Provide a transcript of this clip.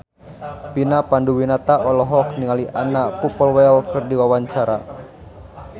Vina Panduwinata olohok ningali Anna Popplewell keur diwawancara